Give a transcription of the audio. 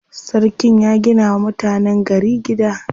Sarkin ya gina wa mutanen gari gida.